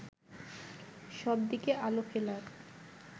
সবদিকে আলো ফেলার